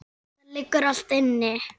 Þetta liggur allt inni